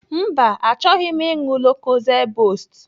Mba, achọghị m ịṅụ lokozed bost.